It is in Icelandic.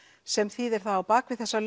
sem þýðir það á bak við þessa